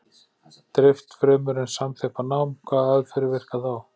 Dreift fremur en samþjappað nám Hvaða aðferðir virka þá?